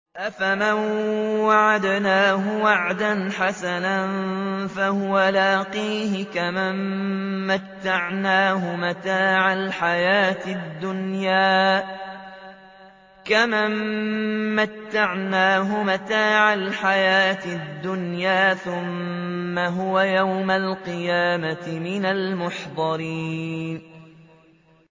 أَفَمَن وَعَدْنَاهُ وَعْدًا حَسَنًا فَهُوَ لَاقِيهِ كَمَن مَّتَّعْنَاهُ مَتَاعَ الْحَيَاةِ الدُّنْيَا ثُمَّ هُوَ يَوْمَ الْقِيَامَةِ مِنَ الْمُحْضَرِينَ